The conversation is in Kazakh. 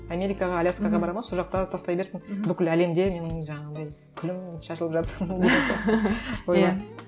америкаға аляскаға барады ма сол жақта тастай берсін бүкіл әлемде менің жаңағындай күлім шашылып жатсын деген сияқты ойлаймын